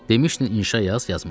Demişdin inşa yaz, yazmışam.